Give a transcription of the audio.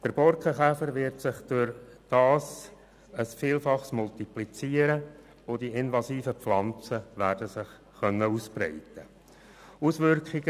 Der Borkenkäfer wird sich dadurch um ein Vielfaches multiplizieren, und die invasiven Pflanzen werden sich ausbreiten können.